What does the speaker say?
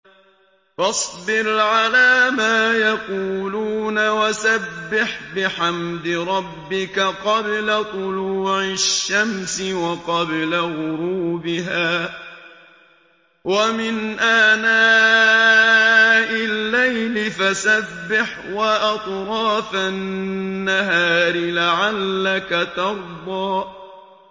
فَاصْبِرْ عَلَىٰ مَا يَقُولُونَ وَسَبِّحْ بِحَمْدِ رَبِّكَ قَبْلَ طُلُوعِ الشَّمْسِ وَقَبْلَ غُرُوبِهَا ۖ وَمِنْ آنَاءِ اللَّيْلِ فَسَبِّحْ وَأَطْرَافَ النَّهَارِ لَعَلَّكَ تَرْضَىٰ